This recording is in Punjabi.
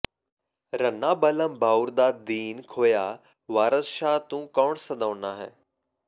ਰੰਨਾ ਬਲਅਮ ਬਾਉਰ ਦਾ ਦੀਨ ਖੋਹਿਆ ਵਾਰਸ ਸ਼ਾਹ ਤੂੰ ਕੌਣ ਸਦਾਉਨਾ ਹੈ